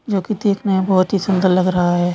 जो की देखने मे बहुत ही सुन्दर लग रहा है।